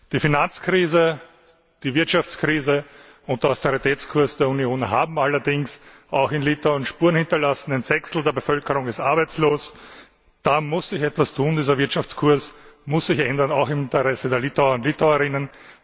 Die Finanzkrise, die Wirtschaftskrise und der Austeritätskurs der Union haben allerdings auch in Litauen Spuren hinterlassen Ein Sechstel der Bevölkerung ist arbeitslos. Da muss sich etwas tun, dieser Wirtschaftskurs muss sich ändern, auch im Interesse der Litauer und Litauerinnen.